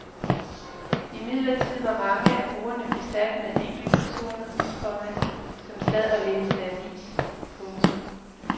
Imidlertid var mange af bordene besat med enkeltpersoner, komma som sad og læste avis. punktum